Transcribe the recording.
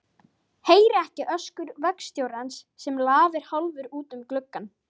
Heyri ekki öskur vagnstjórans sem lafir hálfur út um gluggann.